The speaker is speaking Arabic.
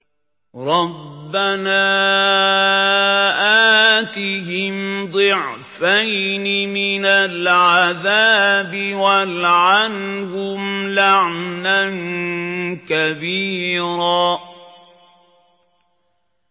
رَبَّنَا آتِهِمْ ضِعْفَيْنِ مِنَ الْعَذَابِ وَالْعَنْهُمْ لَعْنًا كَبِيرًا